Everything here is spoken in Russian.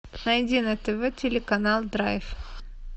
найди на тв телеканал драйв